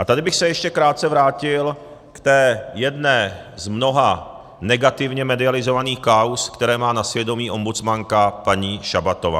A tady bych se ještě krátce vrátil k té jedné z mnoha negativně medializovaných kauz, které má na svědomí ombudsmanka paní Šabatová.